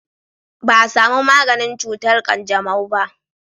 ba a samu maganin cutar kanjamau ba